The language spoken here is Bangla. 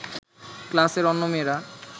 ক্লাসের অন্য মেয়েরা